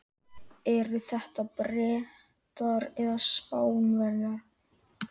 Eru þetta Bretar eða Spánverjar?